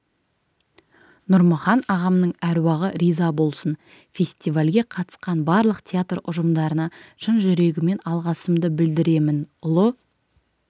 нұрмұхан ағамның әруағы риза болсын фестивальге қатысқан барлық театр ұжымдарына шын жүрегіммен алғысымды білдіремін ұлы